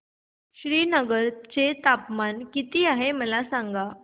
श्रीनगर चे तापमान किती आहे मला सांगा